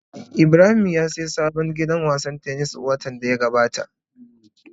Ibrahim ya sayi sabon gidan wasan tennis watan da ya gabata.